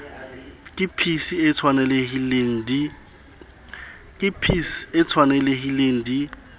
ke pac e tshwanelehileng di